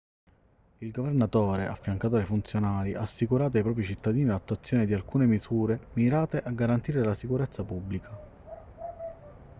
il governatore affiancato dai funzionari ha assicurato ai propri cittadini l'attuazione di alcune misure mirate a garantire la sicurezza pubblica